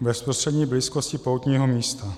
v bezprostřední blízkosti poutního místa.